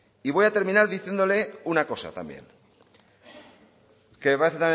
y voy a terminar diciéndole una cosa también que me parece